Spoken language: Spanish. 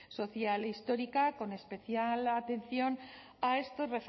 social e histórica con especial atención a estas